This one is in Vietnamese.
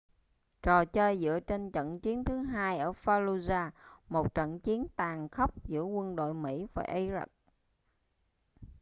trò chơi dựa trên trận chiến thứ hai ở fallujah một trận chiến tàn khốc giữa quân đội mỹ và iraq